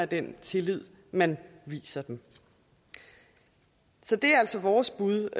den tillid man viser dem så det er altså vores bud